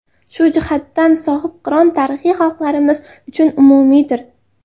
Shu jihatdan, Sohibqiron tarixi xalqlarimiz uchun umumiydir”.